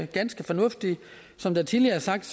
ganske fornuftige som det tidligere er sagt